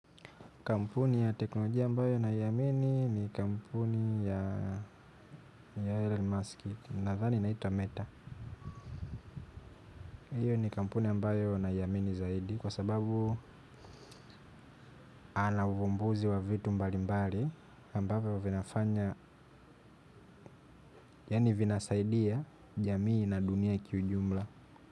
Kampuni ya teknolojia ambayo naiamini ni kampuni ya Elon Musk nadhani inaitwa meta. Iyo ni kampuni ambayo naiamini zaidi kwa sababu ana uvumbuzi wa vitu mbali mbali ambavyo vinafanya, yaani vinasaidia jamii na dunia kiujumla.